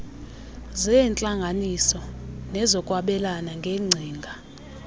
zeentlanganiso nezokwabelana ngeengcinga